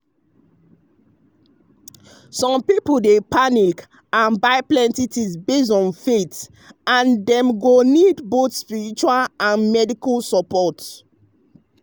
some people dey panic and buy plenty things based on faith and dem go need both spiritual and medical support.